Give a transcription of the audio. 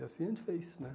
E assim a gente fez, né?